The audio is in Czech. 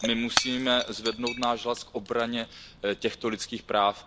My musíme zvednout náš hlas k obraně těchto lidských práv.